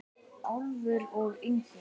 Álfur og Yngvi